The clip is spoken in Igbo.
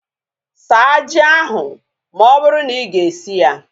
Saa ji ahu ma ọ bụrụ na iga esi ya!